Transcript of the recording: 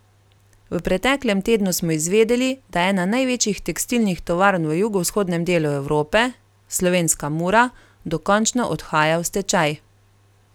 V preteklem tednu smo izvedeli, da ena največjih tekstilnih tovarn v jugovzhodnem delu Evrope, slovenska Mura, dokončno odhaja v stečaj.